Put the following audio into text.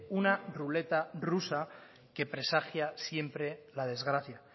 una ruleta rusa que presagia siempre la desgracia